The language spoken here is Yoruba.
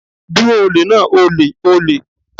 Dúró olè náà!olè!olè!